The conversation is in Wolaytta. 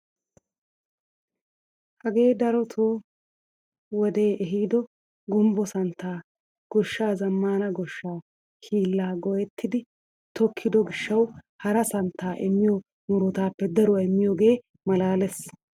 Hagee darotoo wodee ehiido gumbbo santtaa gooshshaa zammaana gooshshaa hiillaa go"ettidi tokkido giishshawu hara santtaa immiyoo murutaappe daruwaa immiyoogee malaales!